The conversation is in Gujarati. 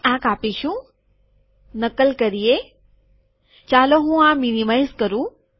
આપણે આ કાપીશુંનકલ કરીએ ચાલો હું આ મીનીમાઈઝ કરું